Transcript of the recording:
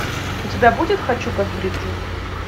у тебя будет хочу как бриджет